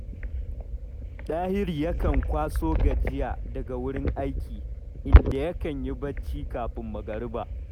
Dahiru yakan kwaso gajiya daga wurin aiki, inda yakan yi barci kafin magariba